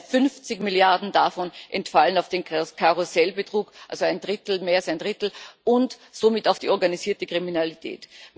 Allein 50 Milliarden davon entfallen auf den Karussellbetrug also mehr als ein Drittel und somit auf die organisierte Kriminalität.